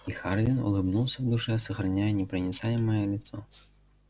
и хардин улыбнулся в душе сохраняя непроницаемое лицо